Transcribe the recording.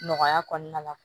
Nɔgɔya kɔnɔna la